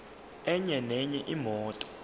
enye nenye imoto